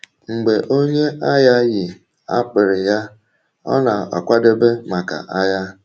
Mgbe onye agha yi akpịrị ya, ọ na-akwadebe maka agha.